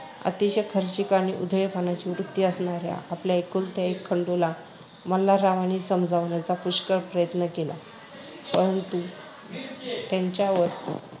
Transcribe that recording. अतिशय खर्चीक आणि उधळेपणाची वृत्ती असणाऱ्या आपल्या एकुलत्या एक खंडूला मल्हाररावांनी समजावण्याचा पुष्कळ प्रयत्न केला, परंतु त्याच्यावर